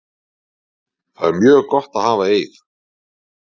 Það er mjög gott að hafa Eið.